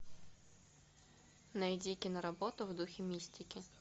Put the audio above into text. найди киноработу в духе мистики